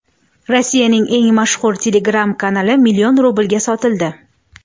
Rossiyaning eng mashhur Telegram-kanali million rublga sotildi.